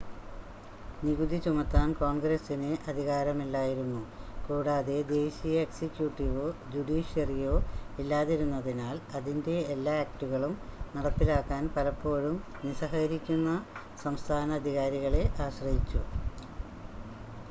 നികുതി ചുമത്താൻ കോൺഗ്രസിന് അധികാരമില്ലായിരുന്നു കൂടാതെ ദേശീയ എക്സിക്യൂട്ടീവോ ജുഡീഷ്യറിയോ ഇല്ലാതിരുന്നതിനാൽ അതിൻ്റെ എല്ലാ ആക്റ്റുകളും നടപ്പിലാക്കാൻ പലപ്പോഴും നിസ്സഹകരിക്കുന്ന സംസ്ഥാന അധികാരികളെ ആശ്രയിച്ചു